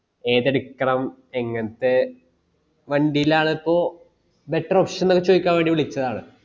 ഏത് എടുക്കണം എങ്ങനത്തെ വണ്ടിലാന്നപ്പോ better option അത് ചോയ്ക്കാൻ വേണ്ടി വിളിച്ചതാണ്